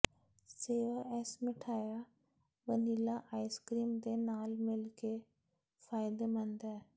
ਸੇਵਾ ਇਸ ਮਿਠਆਈ ਵਨੀਲਾ ਆਈਸ ਕਰੀਮ ਦੇ ਨਾਲ ਮਿਲ ਕੇ ਫਾਇਦੇਮੰਦ ਹੈ